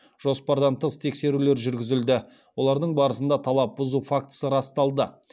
жоспардан тыс тексерулер жүргізілді олардың барысында талап бұзу фактісі расталды